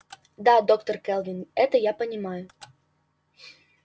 да доктор кэлвин это я понимаю